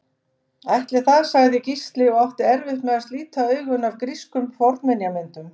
Ætli það sagði Gísli og átti erfitt með að slíta augun af grískum fornminjamyndum.